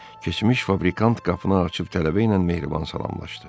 Keçmiş fabrikanın qapısını açıb tələbə ilə mehriban salamlaşdı.